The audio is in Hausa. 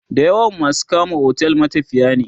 da yawan masu kama otel matafiya ne